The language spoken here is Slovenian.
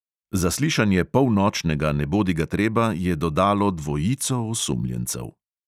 Zaslišanje polnočnega nebodigatreba je dodalo dvojico osumljencev.